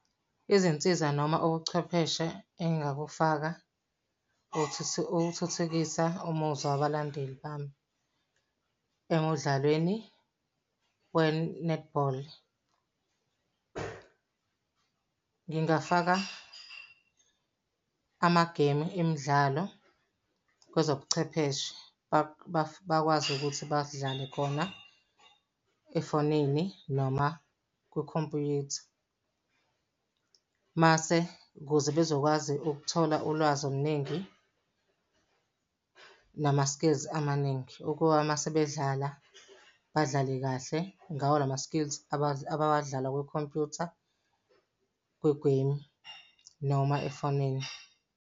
Izinsiza noma ubuchwepheshe engingakufaka uthuthukisa umuzwa wabalandeli bami emudlalweni we-netball. Ngingafaka amageyimu emidlalo kwezobuchwepheshe bakwazi ukuthi badlale khona efonini, noma kwikhompyutha. Mase ukuze bezokwazi ukuthola ulwazi oluningi nama-skills amaningi ukuba uma sebedlala, badlale kahle ngawo lama-skills abawadlala kwikhompuyutha, kwigeyimu noma efonini.